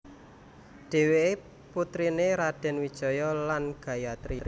Dhéwéké putriné Radèn Wijaya lan Gayatri